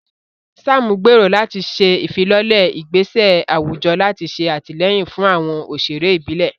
Sam gbèrò láti ṣe ìfilọ́lẹ̀ ìgbésẹ̀ àwùjọ láti ṣe àtìlẹ́yìn fún àwọn òṣèré ìbílẹ̀.